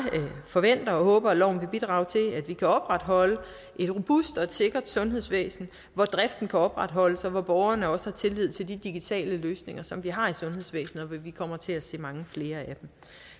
forventer og håber at loven vil bidrage til at vi kan opretholde et robust og sikkert sundhedsvæsen hvor driften kan opretholdes og hvor borgerne også har tillid til de digitale løsninger som vi har i sundhedsvæsenet for vi kommer til at se mange flere af dem